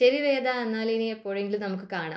ശരി വേദ എന്നാൽ എപ്പോഴെങ്കിലും നമുക്ക് കാണാം